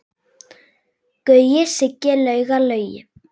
Gaui, Siggi, Lauga, Laugi.